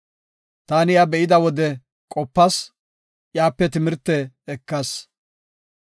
Taani iya be7ida wode qopas; iyape timirte ekas.